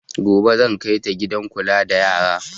Gobe zan kai ta gidan kula da yara